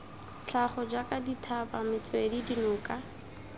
tlhago jaaka dithaba metswedi dinoka